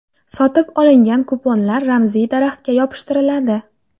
Sotib olingan kuponlar ramziy daraxtga yopishtiriladi.